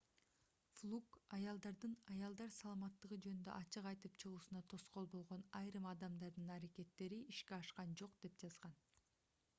флук аялдардын аялдар саламаттыгы жөнүндө ачык айтып чыгуусуна тоскоол болгон айрым адамдардын аракеттери ишке ашкан жок деп жазган